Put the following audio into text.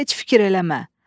Heç fikir eləmə.